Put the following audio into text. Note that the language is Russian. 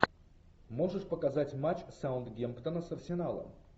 можешь показать матч саутгемптона с арсеналом